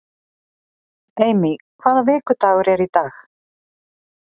Amy, hvaða vikudagur er í dag?